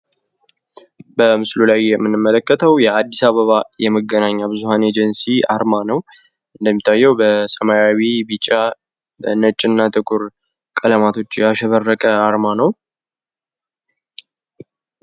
በምስሉ ላይ የምንመለከተው የአዲስ አበባ የመገናኛ ብዙሀን ኤጀንሲ አርማ ነው። እንደሚታየው በሰማያዊ ቢጫ ነጭና ጥቁር ቀለማቶች ያሸበረቀ የአርማ ነው።